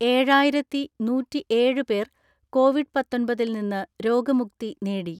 ഏഴായിരത്തിനൂറ്റിഏഴ് പേർ കോവിഡ് പാത്തൊൻപതിൽ നിന്ന് രോഗമുക്തി നേടി.